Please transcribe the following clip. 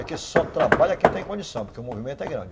Aqui só trabalha quem tem condição, porque o movimento é grande.